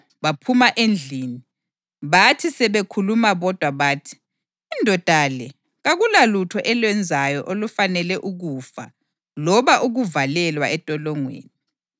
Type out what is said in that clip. Baphuma endlini, bathi sebekhuluma bodwa, bathi, “Indoda le kakulalutho elwenzayo olufanele ukufa loba ukuvalelwa entolongweni.”